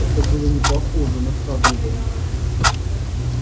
это было не похоже на хагрида